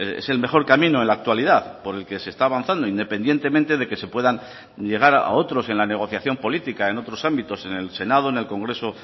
es el mejor camino en la actualidad por el que se está avanzando independientemente de que se puedan llegar a otros en la negociación política en otros ámbitos en el senado en el congreso